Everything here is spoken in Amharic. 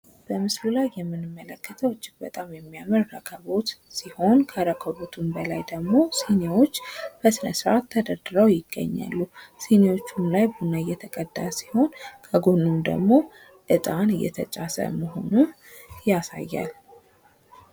በምስሉ ላይ የምንመለከተው እጅግ በጣም የሚያምር ረከቦት ሲሆን ከረከቦቱም በላይ ደግሞ ሲኒዎች በስነስርአት ተደርድረው ይገኛሉ ሲኒዎችም ላይ ቡና እየተቀዳ ሲሆን ከጎኑም ደግሞ እጣን እየተጫሰ መሆኑን ያሳያል።